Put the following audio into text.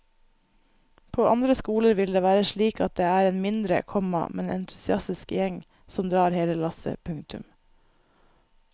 På andre skoler vil det være slik at det er en mindre, komma men entusiastisk gjeng som drar hele lasset. punktum